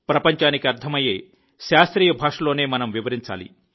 ప్రపంచానికి అర్ధమయ్యే శాస్త్రీయ భాషలోనే మనం వివరించాలి